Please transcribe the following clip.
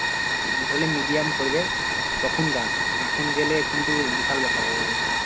ধরলে medium পরবে তখন যাস, এখন গেলে কিন্তু বিশাল ব্যাপার হয়ে যাবে